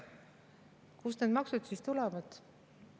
Kust need maksud siis tulevad?